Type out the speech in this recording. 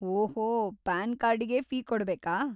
ಓಹೋ, ಪಾನ್‌ ಕಾರ್ಡಿಗೆ ಫೀ ಕೊಡ್ಬೇಕಾ?